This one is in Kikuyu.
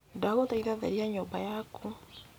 ndagũthaitha theria nyũmba yaku